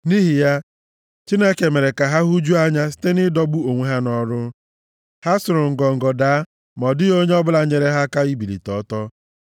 Nʼihi ya, Chineke mere ka ha hụjuo anya site nʼịdọgbu onwe ha nʼọrụ, ha sụrụ ngọngọ daa, ma ọ dịghị onye ọbụla nyeere ha aka ibilite ọtọ.